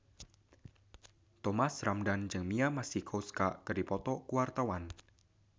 Thomas Ramdhan jeung Mia Masikowska keur dipoto ku wartawan